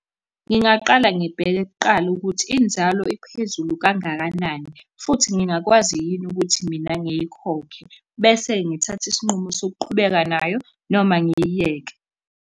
Ngingaqala ngibheke kuqala ukuthi inzalo iphezulu kangakanani, futhi ngingakwazi yini ukuthi mina ngiyikhokhe. Bese ngithatha isinqumo sokuqhubeka nayo noma ngiyiyeke.